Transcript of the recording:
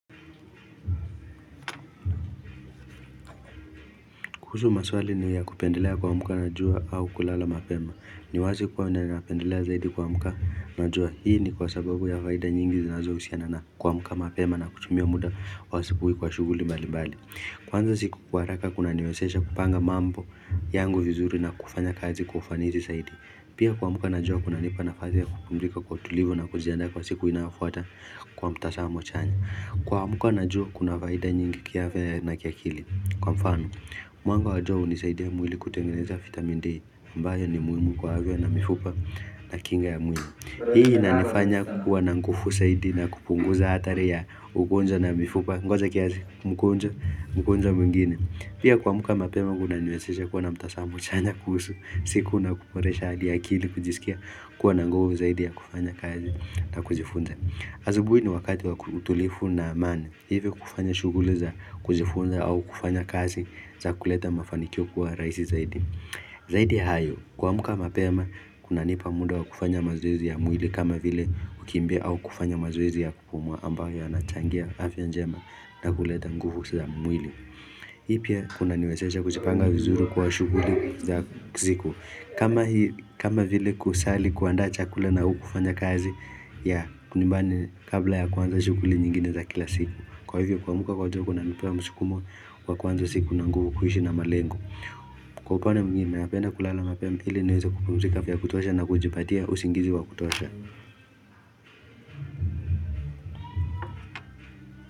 Kuhusu maswali ni ya kupendelea kuamuka na jua au kulala mapema ni wazi kuwa ninapendelea zaidi kuamka na jua Hii ni kwa sababu ya faida nyingi zinazo husiana na kuamka mapema na kutumia muda wa asubuhi kwa shughuli mbali mbali kuanza siku kwa haraka kuna niwezesha kupanga mambo yangu vizuri na kufanya kazi kwa ufanizi zaidi Pia kuamka na jua kuna nipa nafasi ya kupumzika kwa utulivu na kujiandaa kwa siku inayofuata kwa mtazamo chanya kuamka na jua kuna faida nyingi kiafya na kiakili Kwa mfano, mwanga wa jua huni saidia mwili kutengeneza vitamin D aMbayo ni muhimu kwa afya na mifupa na kinga ya mwili Hii inanifanya kuwa nanguvu zaidi na kupunguza hatari ya ugonjwa na mifupa Ngoja kiasi magonjwa mengine Pia kuamka mapema kuna niwezesha kuwa na mtazamo chanya kuhusu siku na kuboresha hadi akili kujisikia kuwa nanguvu zaidi ya kufanya kazi na kujifunza asubuhi ni wakati wa utulivu na amani Hivyo kufanya shughuli za kujifunza au kufanya kazi za kuleta mafanikio kuwa rahisi zaidi. Zaidi ya hayo, kuamka mapema, kuna nipa muda wa kufanya mazoezi ya mwili kama vile kukimbia au kufanya mazoezi ya kupumua ambayo yanachangia afya njema na kuleta nguvu za mwili. Hii pia, kuna niwezesha kujipanga vizuri kwa shughuli za siku. Kama vile kusali kuandaa chakula na au kufanya kazi ya nyumbani kabla ya kuanza shughuli nyingine za kila siku. Kwa hivyo kuamka kwa jua kuna nipea msukumo wa kuanza siku na nguvu kuishi na malengo Kwa upande mwingine napenda kulala mapema ili niweze kupumuzika vyakutosha na kujipatia usingizi wa kutosha.